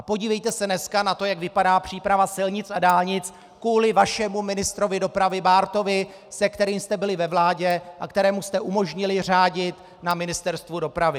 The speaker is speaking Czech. A podívejte se dneska na to, jak vypadá příprava silnic a dálnic kvůli vašemu ministru dopravy Bártovi, se kterým jste byli ve vládě a kterému jste umožnili řádit na Ministerstvu dopravy.